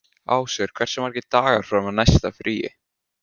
Ásvör, hversu margir dagar fram að næsta fríi?